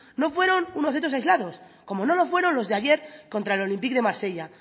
no fueron unos hechos aislados como no lo fueron los de ayer contra el olympique de marsella